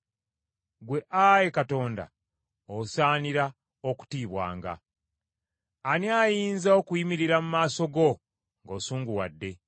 Ggwe ayi Katonda, osaanira okutiibwanga. Ani ayinza okuyimirira mu maaso go ng’osunguwadde?